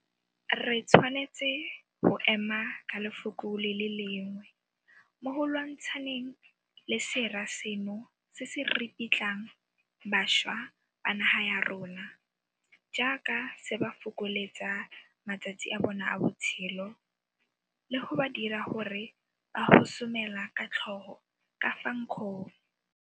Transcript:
Re tshwanetse go ema ka lefoko le le lengwe mo go lwantshaneng le sera seno se se ripitlang bašwa ba naga ya rona jaaka se ba fokoletsa matsatsi a bona a botshelo, le go ba dira gore ba gosomela ka tlhogo ka fa nkgong.